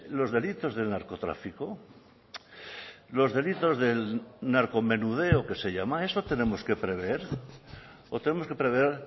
los delitos del narcotráfico los delitos del narcomenudeo que se llama eso tenemos que prever o tenemos que prever